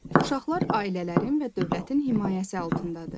Uşaqlar ailələrin və dövlətin himayəsi altındadır.